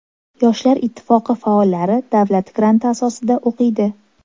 Yoshlar ittifoqi faollari davlat granti asosida o‘qiydi.